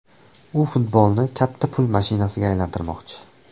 U futbolni katta pul mashinasiga aylantirmoqchi”.